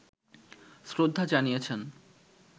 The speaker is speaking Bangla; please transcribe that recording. শ্রদ্ধা জানিয়েছেন